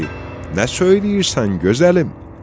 Dedi: Nə söyləyirsən, gözəlim?